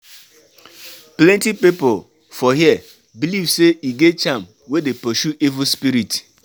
Plenty pipu for here beliv sey e get charm wey dey pursue evil spirit.